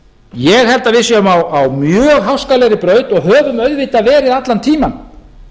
ég held að við séum á mjög háskalegri braut og höfum auðvitað verið allan tímann